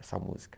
Essa música.